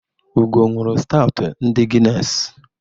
Ugo ṅụụrụ stawtụ ndị Guiness.